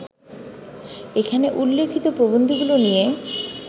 এখানে উল্লিখিত প্রবন্ধগুলো নিয়ে